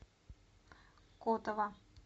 котово